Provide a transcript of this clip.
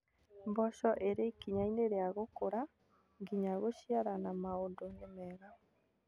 Mboco irĩ ikinya-inĩ rĩa gũkũra nginya gũciara na maũndũ nĩ mega